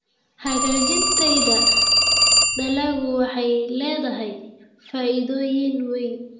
Hagaajinta tayada dalaggu waxay leedahay faa'iidooyin weyn.